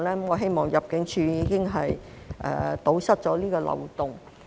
我希望入境處已經堵塞了這個漏洞。